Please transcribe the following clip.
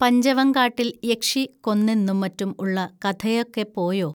പഞ്ചവങ്കാട്ടിൽ യക്ഷി കൊന്നെന്നും മറ്റും ഉള്ള കഥയൊക്കെപ്പോയോ